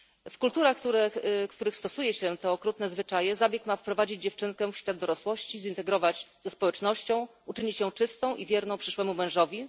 W kulturach, w których stosuje się te okrutne zwyczaje, zabieg ma wprowadzić dziewczynkę w świat dorosłości, zintegrować ze społecznością, uczynić ją czystą i wierną przyszłemu mężowi.